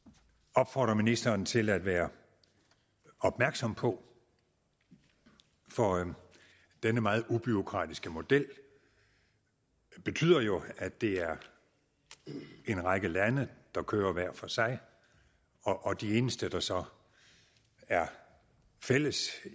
opfordre ministeren til at være opmærksom på for denne meget ubureaukratiske model betyder jo at det er en række lande der kører hver for sig og det eneste der så er fælles